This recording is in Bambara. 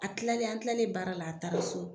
A tilalen an tilalen baara la a taara so.